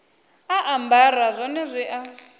a ambara zwone zwi a